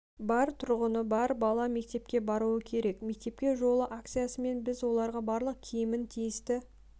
бар тұрғыны бар бала мектепке баруы керек мектепке жол акциясымен біз оларға барлық киімін тиісті